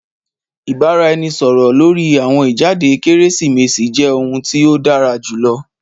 Ìbáraẹnisọ̀rọ̀ lórí àwọn ìjáde Kérésìmesì jẹ́ ohun tí ó dára jùlọ